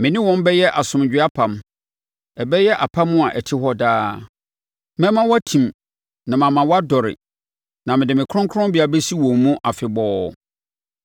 Me ne wɔn bɛyɛ asomdwoeɛ apam, ɛbɛyɛ apam a ɛte hɔ daa. Mɛma wɔatim na mama wɔadɔre na mede me kronkronbea bɛsi wɔn mu afebɔɔ.